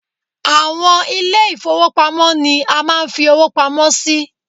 Àwọn ilé ì̀fowópamọ́ ni a máa ń fi owó pamọ́ sí